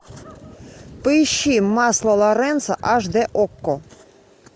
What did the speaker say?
поищи масло лоренцо аш д окко